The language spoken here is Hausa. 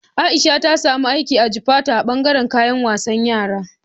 Aisha ta samu aiki a Jufatu a bangaran kayan wasan yara